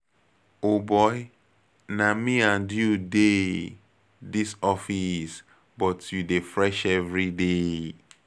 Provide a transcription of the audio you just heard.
O boy, na me and you dey dis office but you dey fresh everyday.